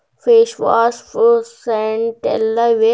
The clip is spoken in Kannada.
ಫೇಸ್ ವಾಶ್ ಫಾರ್ ಸೇಂಟ್ ಎಲ್ಲ ಇವೆ.